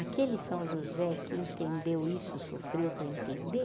Aquele São José que entendeu isso sofreu para entender,